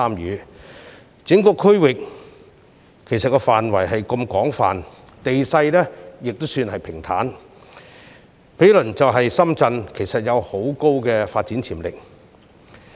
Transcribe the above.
由於整個區域範圍廣闊，地勢亦算平坦，兼且毗鄰深圳，該處其實有極高發展潛力。